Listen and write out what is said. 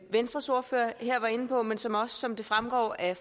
venstres ordfører her var inde på men som også som det fremgår af